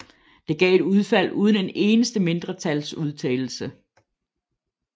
Det gav et udfald uden en eneste mindretalsudtalelse